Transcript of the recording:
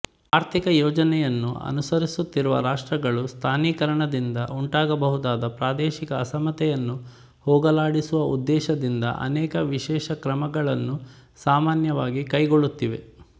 ಆರ್ಥಿಕಯೋಜನೆಯನ್ನು ಅನುಸರಿಸುತ್ತಿರುವ ರಾಷ್ಟ್ರಗಳು ಸ್ಥಾನೀಕರಣದಿಂದ ಉಂಟಾಗಬಹುದಾದ ಪ್ರಾದೇಶಿಕ ಅಸಮತೆಯನ್ನು ಹೋಗಲಾಡಿಸುವ ಉದ್ದೇಶದಿಂದ ಅನೇಕ ವಿಶೇಷಕ್ರಮಗಳನ್ನು ಸಾಮಾನ್ಯವಾಗಿ ಕೈಗೊಳ್ಳುತ್ತಿವೆ